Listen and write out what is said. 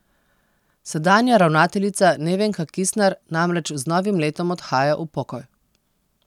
Sedanja ravnateljica Nevenka Kisner namreč z novim letom odhaja v pokoj.